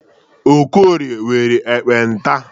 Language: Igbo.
Okorie nwere ekpenta.